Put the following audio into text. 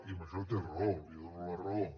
i en això té raó li dono la raó